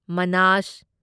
ꯃꯅꯥꯁ